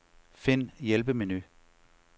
Find hjælpemenu.